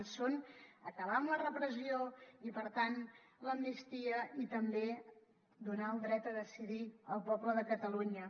i són acabar amb la repressió i per tant l’amnistia i també donar el dret a decidir al poble de catalunya